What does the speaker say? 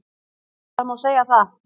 Það má segja það